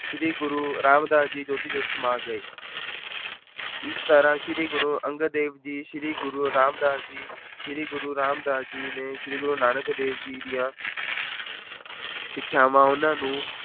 ਸ੍ਰੀ ਗੁਰੂ ਰਾਮਦਾਸ ਜੀ ਜੋਤੀ-ਜੋਤ ਸਮਾ ਗਏ ਇਸ ਤਰ੍ਹਾਂ ਸ੍ਰੀ ਗੁਰੂ ਅੰਗਦ ਦੇਵ ਜੀ, ਸ੍ਰੀ ਗੁਰੂ ਰਾਮਦਾਸ ਜੀ, ਸ੍ਰੀ ਗੁਰੂ ਰਾਮਦਾਸ ਜੀ ਨੇ ਸ੍ਰੀ ਗੁਰੂ ਨਾਨਕ ਦੇਵ ਜੀ ਦੀਆਂ ਸਿੱਖਿਆਵਾਂ ਉਹਨਾਂ ਨੂੰ